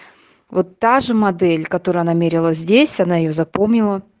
вот та же модель которую она мерила здесь она её запомнила